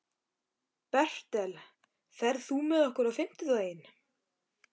Bertel, ferð þú með okkur á fimmtudaginn?